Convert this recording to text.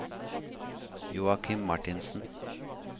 Joachim Marthinsen